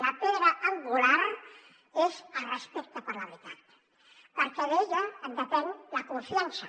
la pedra angular és el respecte per la veritat perquè d’ella en depèn la confiança